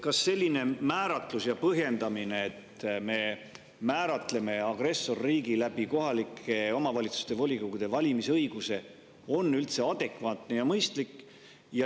Kas selline määratlus ja põhjendamine, et me määratleme agressorriigi läbi kohaliku omavalitsuse volikogu valimise õiguse, on üldse adekvaatne ja mõistlik?